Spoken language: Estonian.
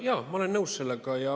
Jaa, ma olen nõus sellega.